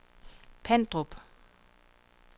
Pandrup